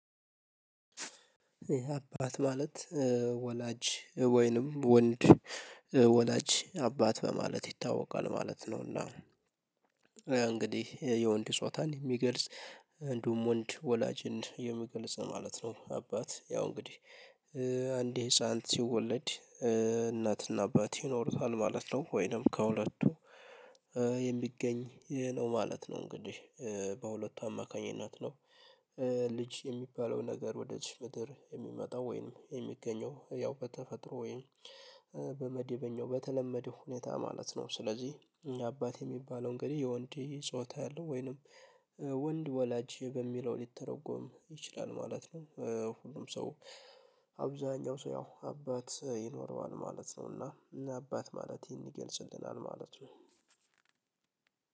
አባት ማለት ወላጅ ወይንም ወንድ ወላጅ አባት በማለት ይታወቃል ማለት ነው፤ እና እንግዲህ የወንድ ጾታን የሚገልጽ እንዲሁም ወንድ ወላጅን የምገልጽ ማለት ነው አባት ያው እንግዲህ አንድ ህፃንት ሲወለድ እናትና አባት ይኖሩታል ማለት ነው፤ ወይንም ከሁለቱ የሚገኝ ነው ማለት ነው እንግዲህ በሁለቱ አማካኝነት ነው። ልጅ የሚባለው ነገር ወደዚች ምድር የሚመጣው ወይንም የሚገኘው ያው በተፈጥሮ ወይንም በመደበኛው በተለመደው ሁኔታ ማለት ነው። ስለዚህ የአባት የሚባለው እንግዲህ የወንድ ጾታ ያለው ወይንም ወንድ ወላጅ በሚለው ሊተረጎም ይችላል ማለት ነው። ሁሉም ሰው አብዛሀኛው ሰው ያው አባት ይኖረዋል ማለት ነው፤ እና አባት ማለት ይህን ይገልጽልናል ማለት ነው።